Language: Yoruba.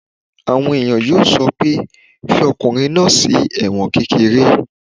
Àwọn èèyàn yóò sọ pé "fi ọkùnrin náà sí ẹ̀wọ̀n kékeré!"